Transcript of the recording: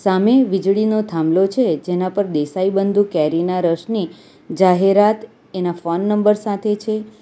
સામે વીજળીનો થાંભલો છે જેના પર દેસાઈબંધુ કેરીના રસની જાહેરાત એના ફોન નંબર સાથે છે.